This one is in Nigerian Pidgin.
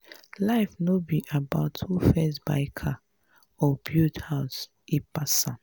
life no be about who first buy car or build house e pass am.